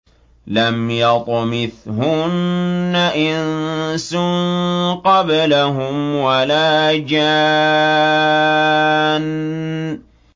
لَمْ يَطْمِثْهُنَّ إِنسٌ قَبْلَهُمْ وَلَا جَانٌّ